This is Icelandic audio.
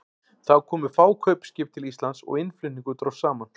Þá komu fá kaupskip til Íslands og innflutningur dróst saman.